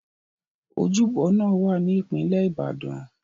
Ojúbọ náà wá ní ìpínlẹ̀ Ìbàdàn.